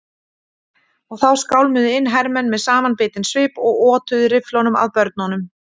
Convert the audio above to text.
Og þá skálmuðu inn hermenn með samanbitinn svip og otuðu rifflum að börnunum.